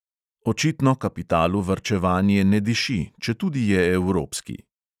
Očitno kapitalu varčevanje ne diši, četudi je evropski!